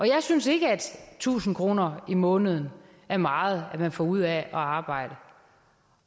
jeg synes ikke at tusind kroner om måneden er meget man får ud af at arbejde